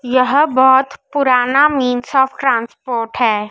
यहां बहोत पुराना मिन्स ऑफ ट्रांसपोर्ट है।